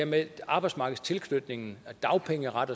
med arbejdsmarkedstilknytning dagpengeret